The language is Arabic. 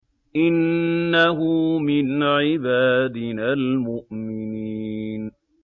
إِنَّهُ مِنْ عِبَادِنَا الْمُؤْمِنِينَ